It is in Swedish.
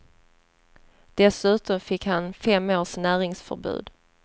Dessutom fick han fem års näringsförbud.